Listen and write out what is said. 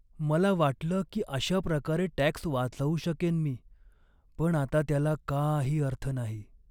मला वाटलं की अशा प्रकारे टॅक्स वाचवू शकेन मी, पण आता त्याला काही अर्थ नाही.